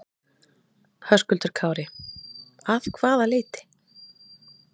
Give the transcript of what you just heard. Höskuldur Kári: Að hvaða leyti?